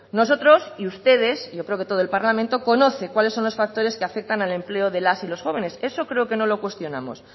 nosotros y ustedes y yo creo que todo el parlamento conoce cuáles son los factores que afectan al empleo de las y los jóvenes eso creo que no lo cuestionamos